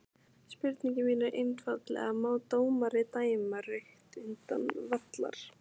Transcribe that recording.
Spurningin mín er einfaldlega má dómari dæma rautt utan vallar?